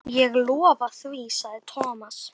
Ég lofa því sagði Thomas.